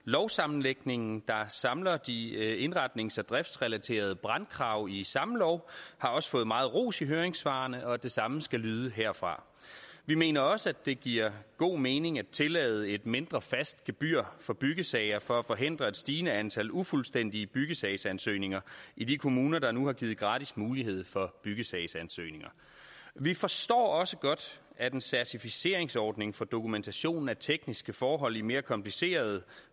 lovsammenlægningen der samler de indretnings og driftsrelaterede brandkrav i samme lov har også fået meget ros i høringssvarene og det samme skal lyde herfra vi mener også at det giver god mening at tillade et mindre fast gebyr for byggesager for at forhindre et stigende antal ufuldstændige byggesagsansøgninger i de kommuner der nu har givet gratis mulighed for byggesagsansøgninger vi forstår også godt at en certificeringsordning for dokumentation af tekniske forhold i mere komplicerede